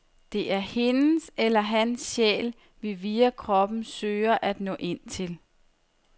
Det er hendes eller hans sjæl, vi via kroppen søger at nå ind til.